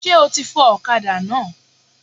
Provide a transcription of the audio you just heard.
Sé o ti fọ òkadá náà?